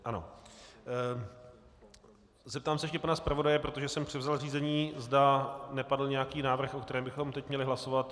Zeptám se ještě pana zpravodaje, protože jsem převzal řízení, zda nepadl nějaký návrh, o kterém bychom teď měli hlasovat.